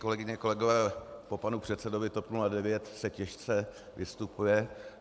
Kolegyně, kolegové, po panu předsedovi TOP 09 se těžce vystupuje.